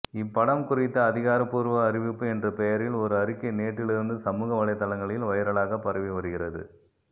இப்படம் குறித்த அதிகாரப்பூர்வ அறிவிப்பு என்ற பெயரில் ஒரு அறிக்கை நேற்றிலிருந்து சமூக வலைத்தளங்களில் வைரலாக பரவி வருகிறது